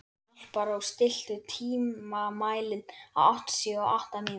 Alparós, stilltu tímamælinn á áttatíu og átta mínútur.